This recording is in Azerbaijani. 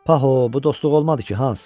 Pa, bu dostluq olmadı ki, Hans!